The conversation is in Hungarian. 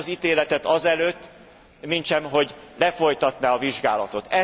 Nem hoz ítéletet azelőtt, mintsem hogy lefolytatná a vizsgálatot.